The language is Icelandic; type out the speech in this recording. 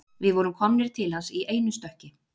Við vorum komnir til hans í einu stökki